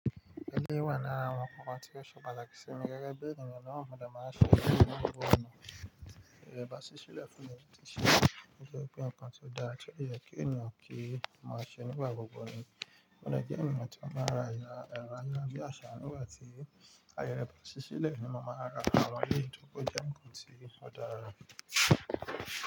Eléyìí wà lára àwọn nǹkan tí ó ṣe pàtàkì sí mi gẹ́gẹ́ bí ènìyàn náà. Mo dẹ̀ máa ń ṣe eléyìí nínú gbogbo ọ̀nà. Ìrẹ́ bàásí sílẹ̀ fún mi ti yẹ kí ǹkan tó dára tó yẹ kí ènìyàn kí máa ṣe nígbà gbogbo ni. Mo dẹ̀ jẹ́ ènìyàn tí ó máa rà ẹ̀rọ ayagbìyasà nígbà tí ayẹ̀ rẹ bàsí sílẹ̀ ni mo máa rà àwọn eléyìí torí pé ó jẹ́ ǹkan tí ó dára.